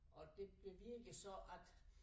Og det bevirker så at